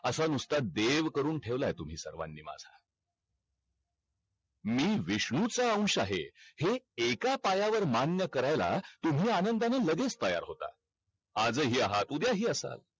असा नुसता देव करून ठेवलाय तुम्ही सर्वानी माझा मी विष्णू चा अवँश आहे हे एका पायावर मान्य करायला तुम्ही आनंदानी लगेच तयार होता आज अ ही आहात उद्या ही असाल